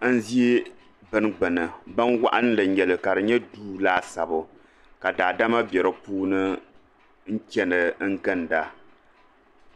Ban ʒɛ bini gbini binwaɣinli n nyɛli ka di nyɛ duu laasabu ka daadama be di puuni n chana n ginda